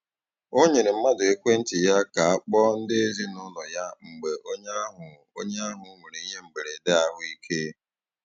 O nyere mmadụ ekwentị ya ka kpọọ ndị ezinaụlọ ya mgbe onye ahụ onye ahụ nwere ihe mberede ahụ ike.